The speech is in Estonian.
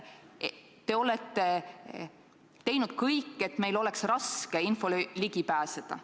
Te olete teinud kõik, et meil oleks raske infole ligi pääseda.